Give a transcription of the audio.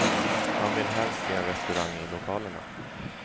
Han vill helst se en restaurang i lokalerna.